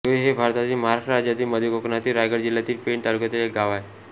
जोहे हे भारतातील महाराष्ट्र राज्यातील मध्य कोकणातील रायगड जिल्ह्यातील पेण तालुक्यातील एक गाव आहे